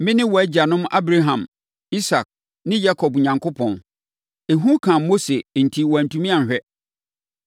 ‘Mene wo agyanom Abraham, Isak ne Yakob Onyankopɔn.’ Ehu kaa Mose enti wantumi anhwɛ.